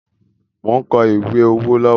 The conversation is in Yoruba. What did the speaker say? Mo ń kọ ìwé owó lọ́wọ́